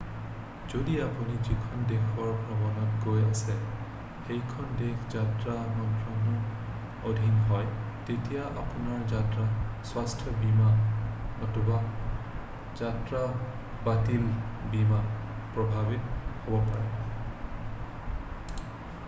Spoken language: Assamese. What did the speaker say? যদি আপুনি যিখন দেশৰ ভ্ৰমণত গৈ আছে সেইখন দেশ যাত্ৰা মন্ত্ৰনাৰ অধীন হয় তেতিয়া আপোনাৰ যাত্ৰা স্বাস্থ্য বীমা নতুবা যাত্ৰা বাতিলৰ বীমা প্ৰভাৱিত হব পাৰে